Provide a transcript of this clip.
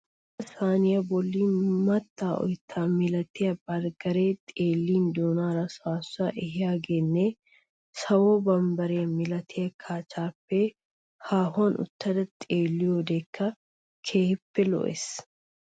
Bootta saaniya bolli mattaa oyttaa milatiya barggaree xeellin doonaara saassuwa ehiyageenne sawo bambbare milatiya kacha-aapee haahuwan uttada xeelliyodekka keehippe lo"ees.